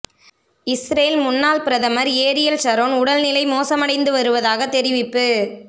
Israel முன்னாள் பிரதமர் Ariel Sharon உடல் நிலை மோசமடைந்து வருவதாக தெரிவிப்பு